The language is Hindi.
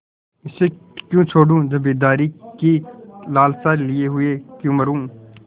इसे क्यों छोडूँ जमींदारी की लालसा लिये हुए क्यों मरुँ